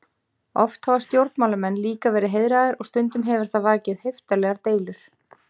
Oft hafa stjórnmálamenn líka verið heiðraðir og stundum hefur það vakið heiftarlegar deilur.